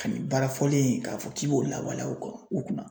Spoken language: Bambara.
Ka nin baara fɔlen in k'a fɔ k'i b'o lawaleya u kɔn u kunna.